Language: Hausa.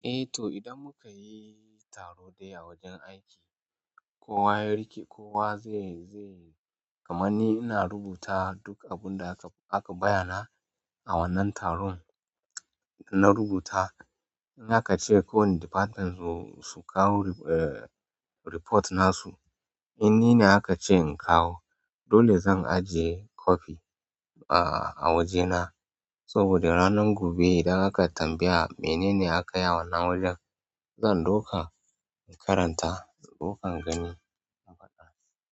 Eh to idan muka yi taro ɗaya a wajen aiki kowa ya riƙe kowa zai, zai kamarni ina rubuta duk abun da aka, aka bayyana a wannan taron. In na rubuta, in aka ce kowanne department su kawo eh, report na su, in ni ne aka ce in kawo dole zan ajiye copy a wajena. Saboda ranan gobe idan aka tambaya mene akayi a wannan wajen zan ɗauka in karanta, ɗaukan gani in faɗa.